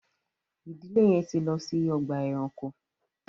ìdílé yén tí lọ si Ọgbà ẹranko